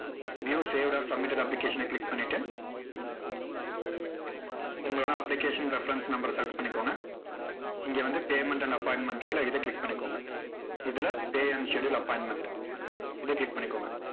new saved or submitted application அ click பண்ணிட்டு, உங்களோட application reference number அ select பண்ணிக்கோங்க. இங்க வந்து payment and appointment க்குல்ல, இதை click பண்ணிக்கோங்க. இதுல pay and schedule appointment இதை click பண்ணிக்கோங்க.